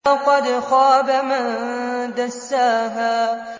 وَقَدْ خَابَ مَن دَسَّاهَا